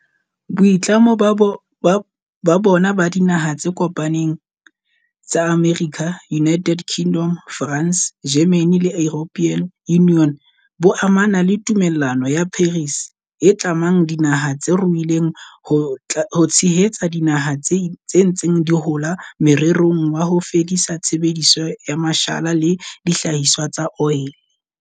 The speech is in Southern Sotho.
Boitlamo bona ba Dinaha tse Kopaneng tsa Amerika, United Kingdom, France, Germany le European Union bo amana le Tumellano ya Paris, e tlamang dinaha tse ruileng ho tshehetsa dinaha tse ntseng di hola morerong wa ho fedisa tshebediso ya mashala le dihlahiswa tsa oli.